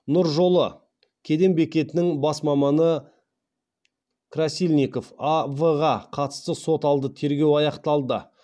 нұр жолы кеден бекетінің бас маманы красильников а в ға қатысты сот алды тергеу аяқталды